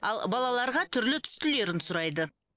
ал балаларға түрлі түстілерін сұрайды